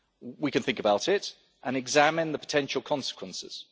We can think about it and examine the potential consequences.